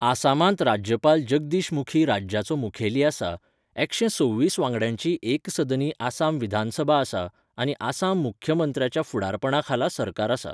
आसामांत राज्यपाल जगदीश मुखी राज्याचो मुखेली आसा, एकशें सव्वीस वांगड्यांची एकसदनी आसाम विधानसभा आसा, आनी आसाम मुख्यमंत्र्याच्या फुडारपणाखाला सरकार आसा.